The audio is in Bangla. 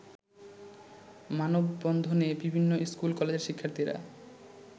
মানববন্ধনে বিভিন্ন স্কুল-কলেজের শিক্ষার্থীরা